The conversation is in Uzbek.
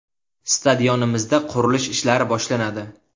Stadionimizda qurilish ishlari boshlanadi.